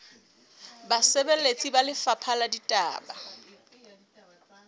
basebeletsi ba lefapha la ditaba